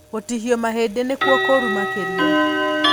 Gũtihio mahĩndĩ nĩkuo kũru makĩria.